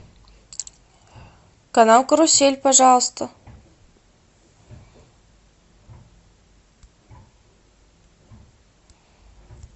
канал карусель пожалуйста